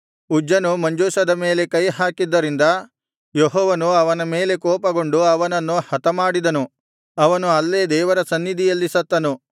ಉಜ್ಜನು ಮಂಜೂಷದ ಮೇಲೆ ಕೈಹಾಕಿದ್ದರಿಂದ ಯೆಹೋವನು ಅವನ ಮೇಲೆ ಕೋಪಗೊಂಡು ಅವನನ್ನು ಹತಮಾಡಿದನು ಅವನು ಅಲ್ಲೇ ದೇವರ ಸನ್ನಿಧಿಯಲ್ಲಿ ಸತ್ತನು